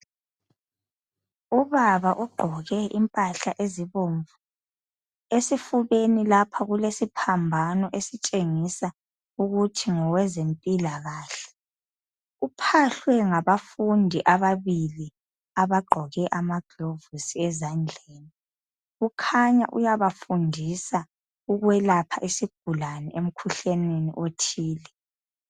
Ubaba ugqoke impahla ezibomvu esifubeni lapha kulesiphambano esitshengisa ukuthi ngowezempilakahle. Uphahlwe ngabafundi ababili abagqoke amagilovisi ezandleni kukhanya uyabafundisa ukwelapha isigulane emkhuhlaneni othile.